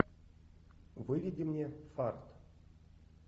выведи мне фарт